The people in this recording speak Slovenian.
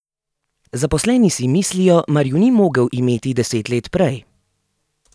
Zaposleni si mislijo, mar ju ni mogel imeti deset let prej...